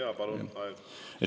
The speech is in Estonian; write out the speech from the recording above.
Jaa, palun, lisaaeg kolm minutit!